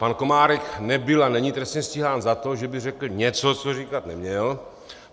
Pan Komárek nebyl a není trestně stíhán za to, že by řekl něco, co říkat neměl.